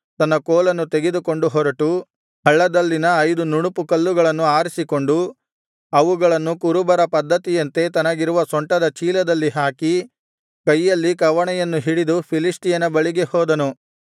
ತನ್ನ ಕೋಲನ್ನು ತೆಗೆದುಕೊಂಡು ಹೊರಟು ಹಳ್ಳದಲ್ಲಿನ ಐದು ನುಣುಪುಕಲ್ಲುಗಳನ್ನು ಆರಿಸಿಕೊಂಡು ಅವುಗಳನ್ನು ಕುರುಬರ ಪದ್ಧತಿಯಂತೆ ತನಗಿರುವ ಸೊಂಟದ ಚೀಲದಲ್ಲಿ ಹಾಕಿ ಕೈಯಲ್ಲಿ ಕವಣೆಯನ್ನು ಹಿಡಿದು ಫಿಲಿಷ್ಟಿಯನ ಬಳಿಗೆ ಹೋದನು